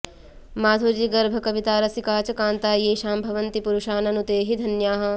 माधुर्यगर्भकविता रसिका च कान्ता येषां भवन्ति पुरुषा ननु ते हि धन्याः